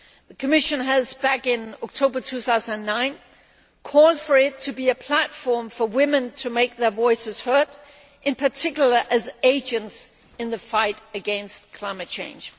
The Commission, back in October 2009, called for there to be a platform for women to make their voices heard, in particular as agents in the fight against climate change.